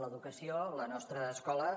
l’educació la nostra escola